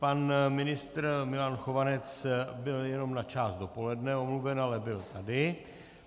Pan ministr Milan Chovanec byl jenom na část dopoledne omluven, ale byl tady.